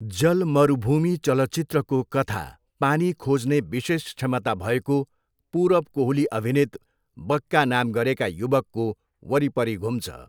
जल मरुभूमि चलचित्रको कथा पानी खोज्ने विशेष क्षमता भएको पुरब कोहली अभिनित बक्का नाम गरेका युवकको वरिपरि घुम्छ।